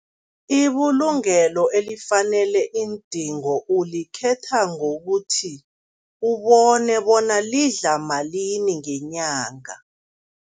Ibulungelo elifanele iindingo ulikhetha ngokuthi, ubone bona lidla malini ngenyanga.